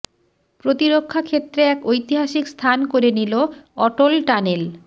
প্রতিরক্ষা ক্ষেত্রে এক ঐতিহাসিক স্থান করে নিল অটল টানেল